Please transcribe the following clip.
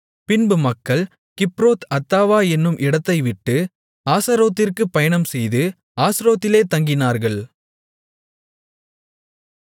பின்பு மக்கள் கிப்ரோத் அத்தாவா என்னும் இடத்தை விட்டு ஆஸரோத்திற்குப் பயணம்செய்து ஆஸ்ரோத்திலே தங்கினார்கள்